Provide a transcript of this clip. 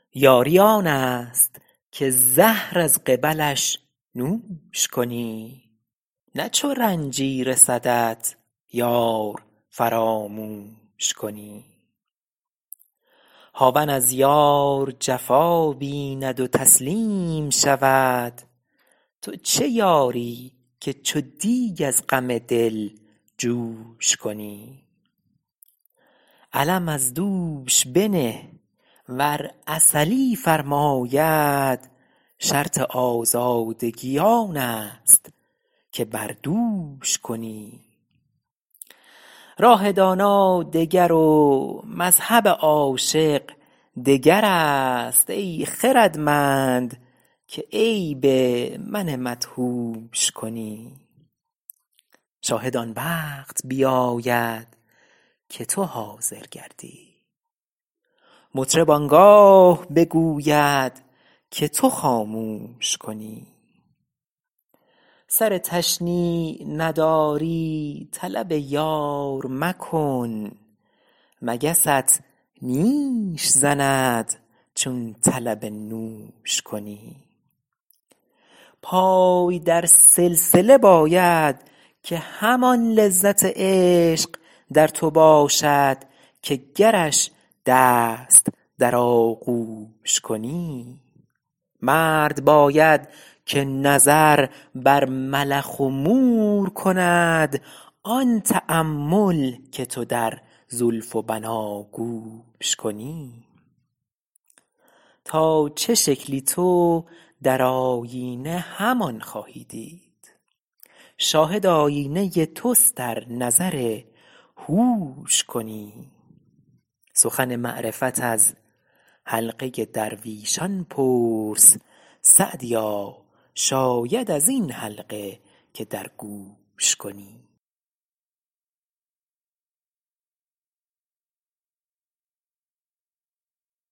یاری آن است که زهر از قبلش نوش کنی نه چو رنجی رسدت یار فراموش کنی هاون از یار جفا بیند و تسلیم شود تو چه یاری که چو دیگ از غم دل جوش کنی علم از دوش بنه ور عسلی فرماید شرط آزادگی آن است که بر دوش کنی راه دانا دگر و مذهب عاشق دگر است ای خردمند که عیب من مدهوش کنی شاهد آن وقت بیاید که تو حاضر گردی مطرب آن گاه بگوید که تو خاموش کنی سر تشنیع نداری طلب یار مکن مگست نیش زند چون طلب نوش کنی پای در سلسله باید که همان لذت عشق در تو باشد که گرش دست در آغوش کنی مرد باید که نظر بر ملخ و مور کند آن تأمل که تو در زلف و بناگوش کنی تا چه شکلی تو در آیینه همان خواهی دید شاهد آیینه توست ار نظر هوش کنی سخن معرفت از حلقه درویشان پرس سعدیا شاید از این حلقه که در گوش کنی